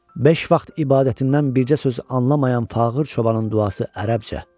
Beş vaxt ibadətindən bircə söz anlamayan fağır çobanın duası ərəbcə.